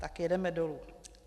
Tak jedeme dolů.